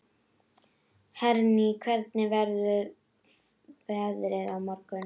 Henrý, hvernig verður veðrið á morgun?